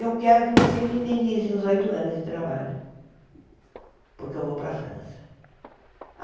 Eu quero que vocês me indenizem os oito anos de trabalho, porque eu vou para a França.